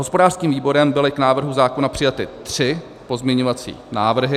Hospodářským výborem byly k návrhu zákona přijaty tři pozměňovací návrhy.